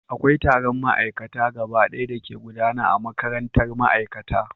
Akwai taron ma'aikata gabaɗaya da ke gudana a makarantar ma'aikata